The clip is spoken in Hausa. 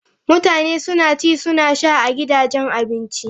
Mutane suna ci suna sha a gidajen abinci.